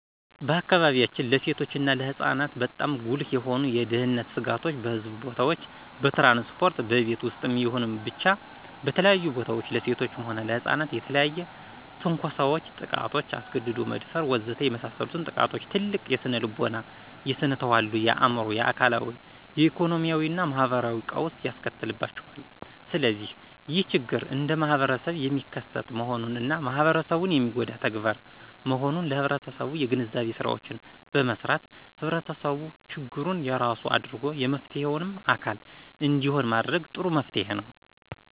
በአካባቢያችን ለሴቶች እና ለሕፃናት በጣም ጉልህ የሆኑ የደህነት ስጋቶች በሕዝብ ቦታዎች፣ በትራንስፖርት፣ በቤት ውስጥም ይሁን ብቻ በተለያዩ ቦታዎች ለሴቶችም ሆነ ለሕፃናት የተለያዩ ትንኮሳዎች፣ ጥቃቶች፣ አስገድዶ መደፈር ወዘተ የመሳሰሉት ጥቃቶች ትልቅ የስነልቦና፣ የስነተዋልዶ፣ የአዕምሮ፣ የአካላዊ፣ የኢኮኖሚያዊና ማህበራዊ ቀውስ ያስከትልባቸዋል። ስለዚህ ይህ ችግር እንደማህበረሰብ የሚከሰት መሆኑንና ማህበረሰቡን የሚጎዳ ተግባር መሆኑን ለህብረተሰቡ የግንዛቤ ስራዎችን በመስራት ህብረተሰቡ ችግሩን የራሱ አድርጎ የመፍትሔውም አካል እንዲሆን ማድረግ ጥሩ መፍትሔ ነው።